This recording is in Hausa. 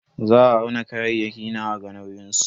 Za a auna kayayyaki na a ga nauyin su.